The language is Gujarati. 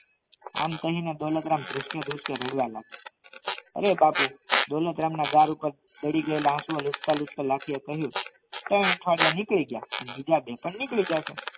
આમ કહીને દોલતરામ ધ્રુજતા ધ્રુજતા રડવા માડીયા અરે બાપુ દોલતરામ ના ગાલ પર પડીગાયલા આશુ લૂછતા લૂછતા લાખી એ કહ્યું ત્રણ અઠવાડિયા નીકળી ગયા બીજા બે પણ નીકળી જશે